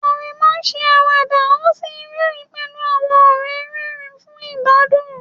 Aremu ṣe àwàdà ó sì rẹ́rìn-ín pẹ̀lú àwọn ọ̀rẹ́ rẹ́rìn-ín fún ìgbádùn.